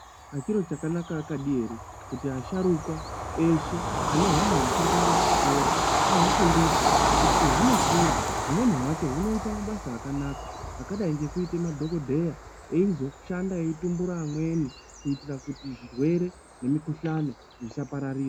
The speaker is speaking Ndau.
Chiro chakanaka akadi ere kuti asharuka eshe ane hwana huchiri kuenda kuchikora ahufundise. Kuti pehunokura humweni hwacho hunoita mabasa akanaka akadai ngekuite madhogodheya eizoshanda eitumbura amweni. Kuitira kuti zvirwere nemikuhlani zvisapararira.